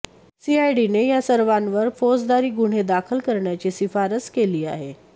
सीआयडीने या सर्वांवर फौजदारी गुन्हे दाखल कऱण्याची शिफारस केली आहे